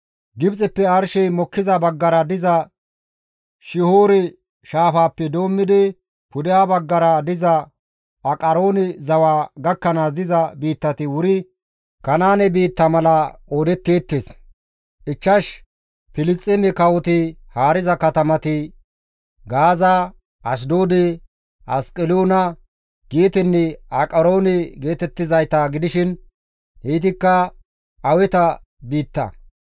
Gibxeppe arshey mokkiza baggara diza Shihoore shaafaappe doommidi, pudeha baggara diza Aqaroone zawa gakkanaas diza biittati wuri Kanaane biitta mala qoodetteettes. Ichchash Filisxeeme kawoti haariza katamati Gaaza, Ashdoode, Asqeloona, Geetenne Aqaroone geetettizayta gidishin heytikka Aweta biitta.